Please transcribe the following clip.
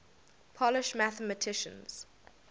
polish mathematicians